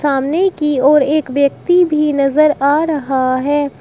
सामने की ओर एक व्यक्ति भी नजर आ रहा है।